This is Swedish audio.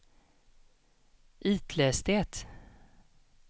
itläs det